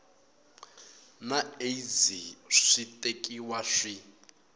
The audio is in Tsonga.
na aids swi tekiwa swi